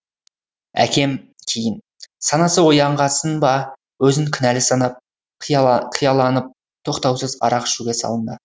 әкем кейін санасы оянғасын ба өзін кінәлі санап қияланып тоқтаусыз арақ ішуге салынды